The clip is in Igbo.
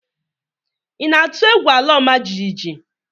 Ị na-atụ egwu ala ọma jijiji?